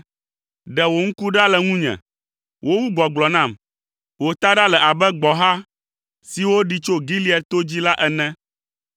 Ɖe wò ŋku ɖa le ŋunye; wowu gbɔgblɔ nam, wò taɖa le abe gbɔ̃ha siwo ɖi tso Gilead to dzi la ene.